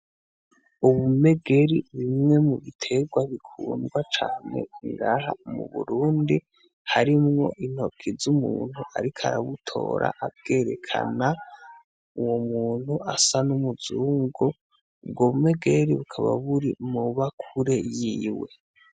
Ubumegeri ni bumwe mu bitegwa bikundwa cane ngaha mu Burundi harimwo intoki z'umuntu ariko arabutora abwerekana, uwo muntu asa n'umuzungu. Ubwo bumegeri bukaba buri mw'ibakure yiwe.